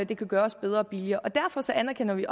det kan gøres bedre og billigere derfor anerkender vi